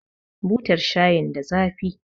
Butar shayin da zafi